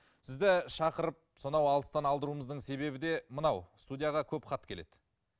сізді шақырып сонау алыстан алдыруымыздың себебі де мынау студияға көп хат келеді